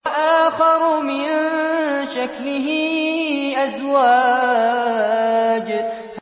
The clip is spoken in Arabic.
وَآخَرُ مِن شَكْلِهِ أَزْوَاجٌ